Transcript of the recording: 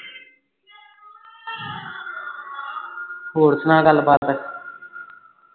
ਹੋਰ ਸੁਨਾ ਗੱਲਬਾਤ